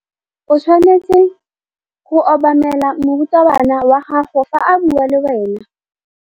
O tshwanetse go obamela morutabana wa gago fa a bua le wena.